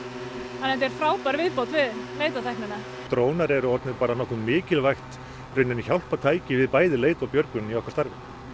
þetta er frábær viðbót við leitartæknina drónar eru orðnir mikilvægt hjálpartæki við bæði leit og björgun í okkar starfi